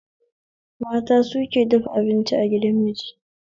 Mata suke dafa abinci a gidan miji